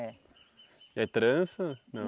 É. E aí trança na?